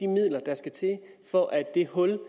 midler der skal til for at det hul